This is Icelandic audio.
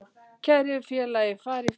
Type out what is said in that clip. Kæri félagi, far í friði.